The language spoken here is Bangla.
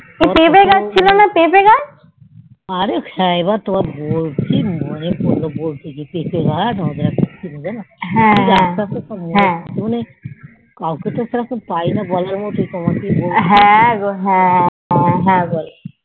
অরে হ্যান এবার তোমায় বলছি তাই বলতে বলতে মনে পড়লো যা কত বার মজা করতে যেন হ্যান মানে কাওকে তো সেরম বলার মতন তোমাকেই বলছি